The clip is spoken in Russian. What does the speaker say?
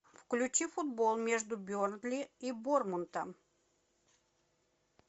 включи футбол между бернли и борнмутом